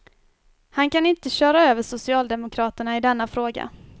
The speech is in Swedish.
Han kan inte köra över socialdemokraterna i denna fråga.